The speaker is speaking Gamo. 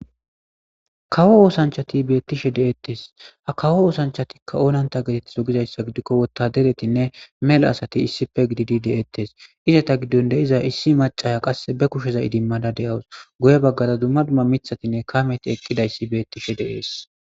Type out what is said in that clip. Kawo oothanshati beetishe de'etes ha kawo oosanchatika oonante geetetizo gizayssa gidiko wotaderetinne mela asati issippe gididi de'etes izeta gidon de'izayssi issi maccaya qase be kusheza idimada de'awus guye bagara dumma dumma mithatinne kaameti eqqidayssi beetishe de'es.